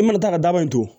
I mana taa ka daba ye tugun